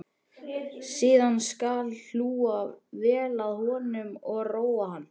Síðan skal hlúa vel að honum og róa hann.